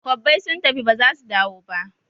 Kwabbai sun tafi ba zasu dawo ba